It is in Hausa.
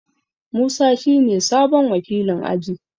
Musa shine sabon wakilin aji.